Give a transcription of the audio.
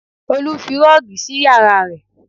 Olu fi rọ́ọ̀gì sí yàrá rẹ̀